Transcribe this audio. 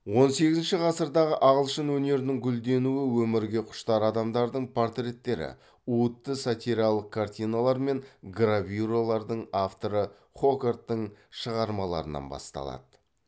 он сегізінші ғасырдағы ағылшын өнерінің гүлденуі өмірге құштар адамдардың портреттері уытты сатиралық картиналар мен гравюралардың авторы хогарттың шығармаларынан басталады